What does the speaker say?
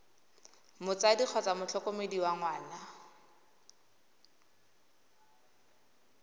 motsadi kgotsa motlhokomedi wa ngwana